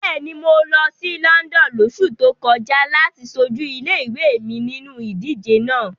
Bẹ́ẹ̀ni, mo lọ sí London lóṣù tó kọjá láti ṣojú ilé-ìwé mi nínu ìdíje náà.